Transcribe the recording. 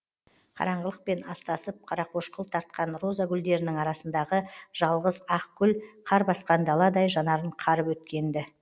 қараңғылықпен астасып қарақошқыл тартқан роза гүлдерінің арасындағы жалғыз ақ гүл қар басқан даладай жанарын қарып өткен ді